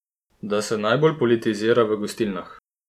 Da se najbolj politizira v gostilnah!